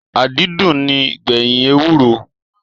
Adùn ní ń gbẹ̀yìn ewúro